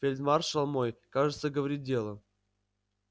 фельдмаршал мой кажется говорит дело